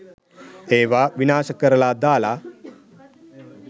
ඒවා විනාශ කරලා දාලා